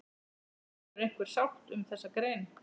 Verður einhver sátt um þessa grein?